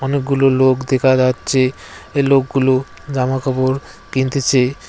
অনেকগুলো লোক দেকা যাচ্চে এ লোকগুলো জামা কাপড় কিনতেসে।